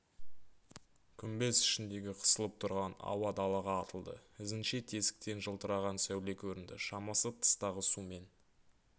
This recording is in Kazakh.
күмбез ішіндегі қысылып тұрған ауа далаға атылды ізінше тесіктен жылтыраған сәуле көрінді шамасы тыстағы су мен